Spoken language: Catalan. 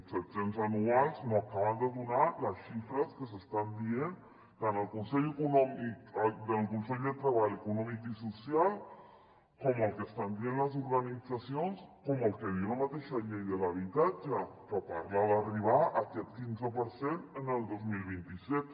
set cents anuals no acaben de donar les xifres que s’estan dient tant al consell de treball econòmic i social com el que estan dient les organitzacions o el que diu la mateixa llei de l’habitatge que parla d’arribar a aquest quinze per cent el dos mil vint set